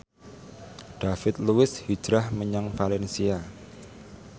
David Luiz hijrah menyang valencia